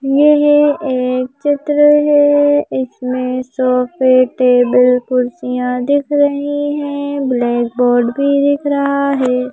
यह एक चित्र है इसमें सोफे टेबल कुर्सियां दिख रही हैं ब्लैक बोर्ड भी दिख रहा है।